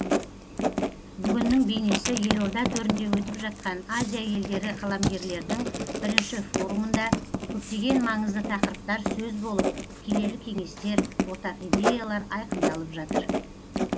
бүгіннің бейнесі елорда төрінде өтіп жатқан азия елдері қаламгерлерінің бірінші форумында көптеген маңызды тақырыптар сөз болып келелі кеңестер ортақ идеялар айқындалып жатыр